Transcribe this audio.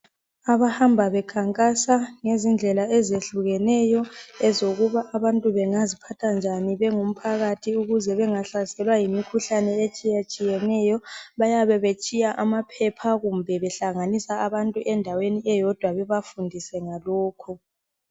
Abahamba bekhankasa ngezindlela ezehlukeneyo ezokuba abantu bengaziphatha kanjani bengumphakathi ukuze bengahlaselwa yimikhuhlani etshiyetshiyeneyo bayabe betshiya amaphepha kumbe behlanganisa abantu endaweni eyodwa bebafundisa ngalokho